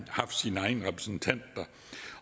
haft sin egen repræsentant der